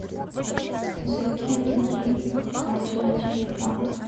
закинуть денег кате на телефон